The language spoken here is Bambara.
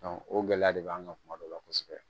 o gɛlɛya de b'an kan kuma dɔ la kosɛbɛ